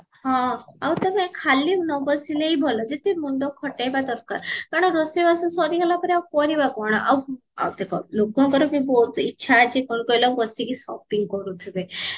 ହଁ ଆଉ ତେବେ ଖାଲି ନବସିଲେ ହି ଭଲ ଯେତେ ମୁଣ୍ଡ ଖଟେଇବା ଦରକାର କାରଣ ରୋଷେଇ ବାସ ସରିଗଲା ପରେ ଆଉ କରିବା କଣ ଆଉ ଆଉ ଦେଖ ଲୋକଙ୍କର ବି ବହୁତ ଇଚ୍ଛା ଅଛି କଣ ଅଖିଲା ବସିକି shopping କରୁଥିବେ